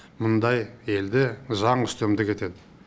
мұндай елде заң үстемдік етеді